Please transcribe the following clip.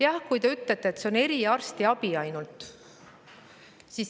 Ja te ütlete, et see on ainult eriarstiabi puhul nii.